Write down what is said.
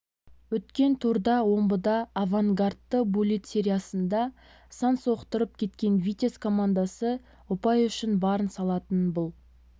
өткен турда омбыда авангардты буллит сериясында сан соқтырып кеткен витязь командасы ұпай үшін барын салатынын бұл